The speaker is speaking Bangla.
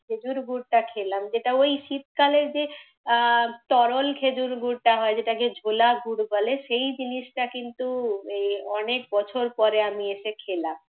খেজুর গুঁড়টা খেলাম। যেটা ওই শীত কালে যে আহ তরল খেজুরগুঁড়টা হয় যেটাকে ঝোলা গুঁড় বলে, সেই জিনিসটা কিন্তু অনেক বছর পরে আমি এসে খেলাম